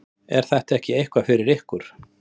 Er þetta ekki eitthvað fyrir ykkur